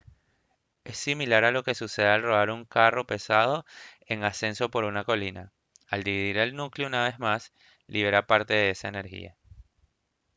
es similar a lo que sucede al rodar un carro pesado en ascenso por una colina al dividir el núcleo una vez más libera parte de esa energía